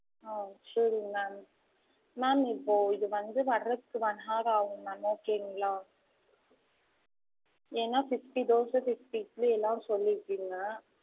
ஆஹ் சேரிங்க ma'amma'am இப்போ இது வந்து வர்றதுக்கு one hour ஆகும் ma'am okay ங்களா? ஏன்னா fifty தோச fifty இட்லிலா சொல்லிருக்கிங்க.